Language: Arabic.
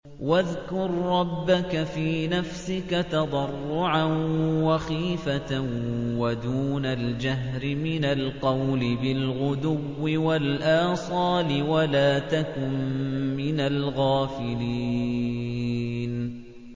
وَاذْكُر رَّبَّكَ فِي نَفْسِكَ تَضَرُّعًا وَخِيفَةً وَدُونَ الْجَهْرِ مِنَ الْقَوْلِ بِالْغُدُوِّ وَالْآصَالِ وَلَا تَكُن مِّنَ الْغَافِلِينَ